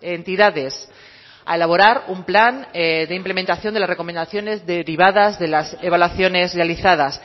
entidades a elaborar un plan de implementación de las recomendaciones derivadas de las evaluaciones realizadas